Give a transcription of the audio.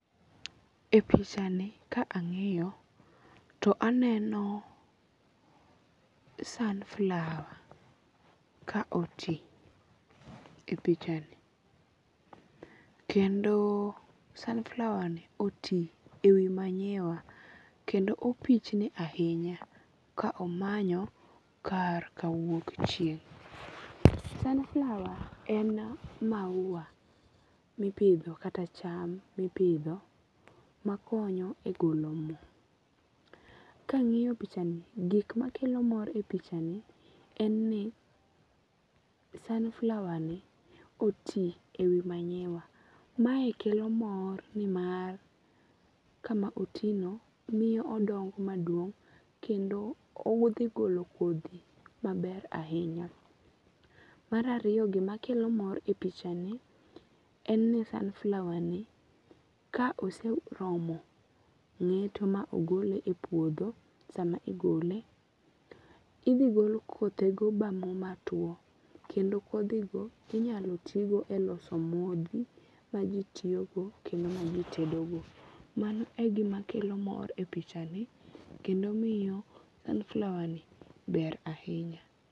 E pichani ka ang'iyo to aneno sunflower ka oti e pichani. Kendo sunflower ni oti e wi manyiwa kendo opichni ahinya ka omanyo kar ka wuok chieng'. Sunflower en maua mipidho kata cham mipidho makonyo e golo mo. Kang'iyo pichani gik makelo mor e pichani en ni sunflower ni oti e wi manyiwa. Mae kelo mor ni mar kama oti no miyo odongo maduong' kendo owuotho e golo kodhi maber ahinya. Mar ariyo gima kelo mor e pichani en ni sunflower ni ka oseromo ng'eto ma ogole e puodho sama igole idhi gol kothe go ma mo matuo. Kendo kodhi go inyalo ti go e loso modhi ma ji tiyogo kendo ma ji tedo go. Mano egima kelo mor e pichani kendo miyo sunflower ni ber ahinya.